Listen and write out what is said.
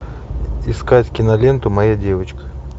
искать киноленту моя девочка